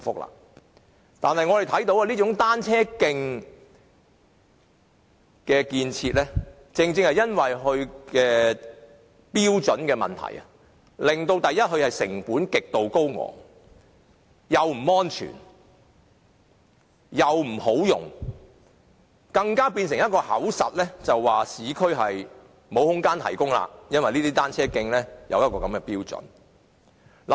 我們看到這種單車徑的設計，基於其標準的問題，令成本極度高昂，既不安全，亦不方便使用，更成為一種藉口，指市區沒有空間提供單車徑，因為單車徑設有這種標準。